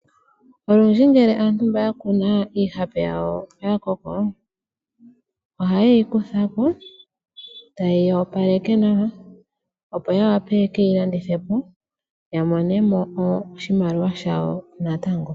Olundji ngele aantu mba yakuna iihape yawo oyakoko oha yeyi kutha ko eta yeyi opaleke nawa opo yawape yekeyi landithe po yamone mo oshimaliwa shawo natango.